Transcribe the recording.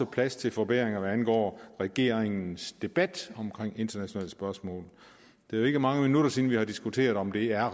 plads til forbedringer hvad angår regeringens debat om internationale spørgsmål det er ikke mange minutter siden vi diskuterede om det er